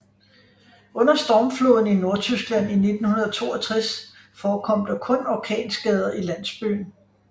Under Stormfloden i Nordtyskland i 1962 forekom der kun orkanskader i landsbyen